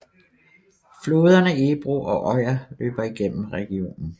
Floderne Ebro og Oja løber gennem regionen